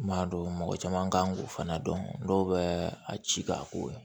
M'a dɔn mɔgɔ caman kan k'o fana dɔn dɔw bɛ a ci k'a ko